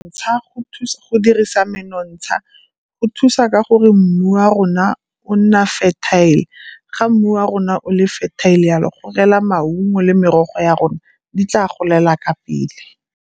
Ntsha go dirisa menontsha go thusa ka gore mmu a rona o nna fertile. Ga mmu wa rona o le fertile yalo go rela maungo le merogo ya rona di tla golela ka pele.